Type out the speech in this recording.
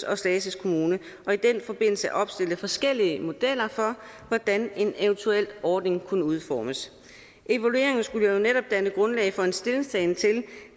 og slagelse kommune og i den forbindelse opstille forskellige modeller for hvordan en eventuel ordning kunne udformes evalueringen skulle jo netop danne grundlag for en stillingtagen til i